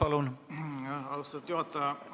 Aitäh, austatud juhataja!